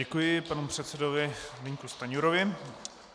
Děkuji panu předsedovi Zbyňku Stanjurovi.